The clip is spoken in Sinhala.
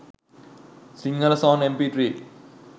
sinhala song mp3